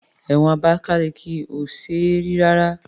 Ẹ̀wọ̀n Abakaliki ò ṣe é rí rárá.